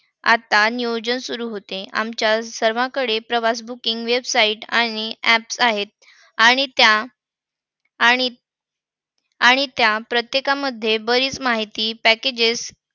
आता नियोजन सुरू होते. आमच्या सर्वाकडे प्रवास booking websites आणि apps आहेत. आणि त्या आणि आणि त्या प्रत्येकामध्ये बरीच माहिती packages